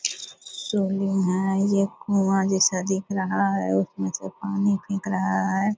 Soling है ये कुआँ जैसा दिख रहा है उसमे से पानी दिख रहा है।